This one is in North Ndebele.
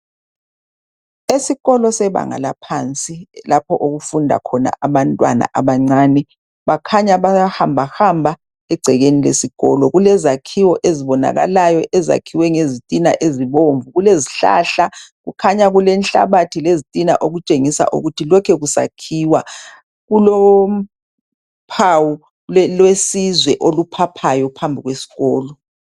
Esikolo sebanga laphansi lapho okufunda khona abantwana abancane bakhanya bayahamba hamba egcekeni lesikolo, kulezakhiwo ezibonakalayo ezakhiwe ngezitina ezibomvu ,kulezihlahla kukhanya kulenhlabathi lezitina okutshengisa ukuthi lokhu kusakhiwa, kulophawu lwesizwe oluphaphayo phambi kwesikolo.